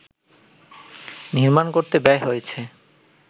নির্মাণ করতে ব্যয় হয়েছে